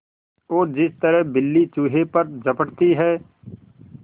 और जिस तरह बिल्ली चूहे पर झपटती है